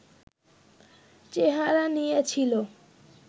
চেহারা নিয়েছিল